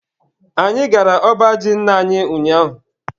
Anyị gara ọba ji nna anyi ụnyaahụ.